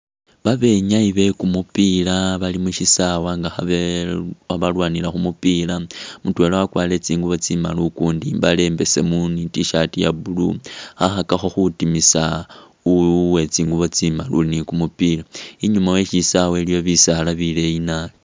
Babenyayi be kumupila bali mushisawa nga balwanila kumupila mutwela wakwarire tsingubo tsimali ukundi imbale imbesemu ni itshirt iye Blue khakhakakho khutimisa uwetsingubo tsimali uli ne kumupila inyuma weshisawa waliyo bisaala bileeyi naabi.